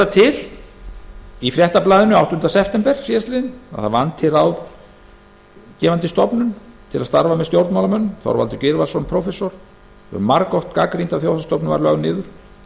sagt í fréttablaðinu áttunda september síðastliðinn að það vanti ráðgefandi stofnun til að starfa með stjórnmálamönnum þorvaldur gylfason prófessor hefur margoft gagnrýnt að þjóðhagsstofnun var lögð niður